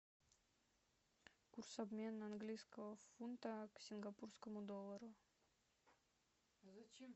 курс обмена английского фунта к сингапурскому доллару